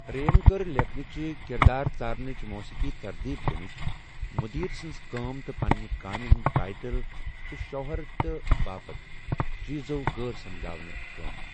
رے یَن كٕر لیكھنٕچہِ ، كِردار ژارنچ ، موسیقی ترتیب دِنٕچ، مُدیر سٕنز كٲم تہٕ پننہِ كامہِ ہندِ ٹایٹل تہٕ شوہرتہٕ باپت چیز وغٲرٕ سجاونہٕ كٲم ۔